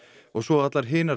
og svo allar hinar